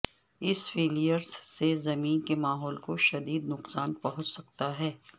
اس flares سے زمین کے ماحول کو شددید نقصان پہنچ سکتا ہے